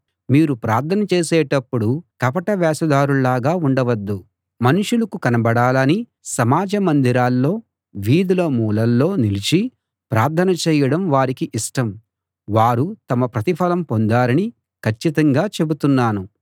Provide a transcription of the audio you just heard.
మీరు ప్రార్థన చేసేటప్పుడు కపట వేషధారుల్లాగా ఉండవద్దు మనుషులకు కనబడాలని సమాజ మందిరాల్లో వీధుల మూలల్లో నిలిచి ప్రార్థన చేయడం వారికి ఇష్టం వారు తమ ప్రతిఫలం పొందారని కచ్చితంగా చెబుతున్నాను